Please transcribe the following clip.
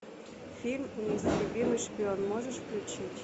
фильм неистребимый шпион можешь включить